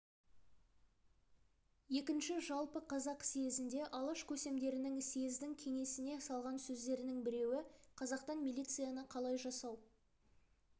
екінші жалпы қазақ съезінде алаш көсемдерінің съездің кеңесіне салған сөздерінің біреуі қазақтан милицияны қалай жасау